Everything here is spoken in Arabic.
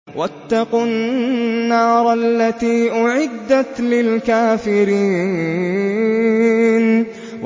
وَاتَّقُوا النَّارَ الَّتِي أُعِدَّتْ لِلْكَافِرِينَ